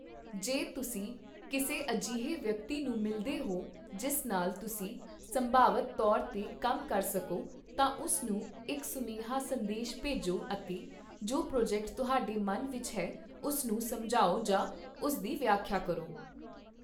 ਜੇ ਤੁਸੀਂ ਕਿਸੇ ਅਜਿਹੇ ਵਿਅਕਤੀ ਨੂੰ ਮਿਲਦੇ ਹੋ ਜਿਸ ਨਾਲ ਤੁਸੀਂ ਸੰਭਾਵਤ ਤੌਰ ਤੇ ਕੰਮ ਕਰ ਸਕੋ, ਤਾਂ ਉਸ ਨੂੰ ਇੱਕ ਸੁਨੇਹਾ ਸੰਦੇਸ਼ ਭੇਜੋ ਅਤੇ ਜੋ ਪ੍ਰੋਜੈਕਟ ਤੁਹਾਡੇ ਮਨ ਵਿੱਚ ਹੈ ਉਸ ਨੂੰ ਸਮਝਾਓ ਜਾਂ ਉਸ ਦੀ ਵਿਆਖਿਆ ਕਰੋ।